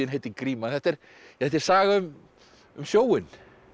heitir gríma þetta er þetta er saga um um sjóinn